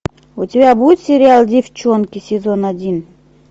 у тебя будет сериал девчонки сезон один